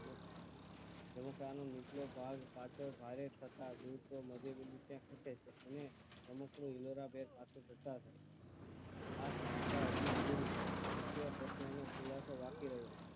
જેને કારણે નિચલો ભાગ પાછો ભારે ફસાવ્યું તો મધ્ય બિંદુ તે પૂછે છે અને રમકડું હિલોર ભેર પાછુ છે આ સ્પસ્ટતા હજુ અધૂરી છે મુખ્ય પ્રશ્ન એ ખૂલશો બાકી રહ્યું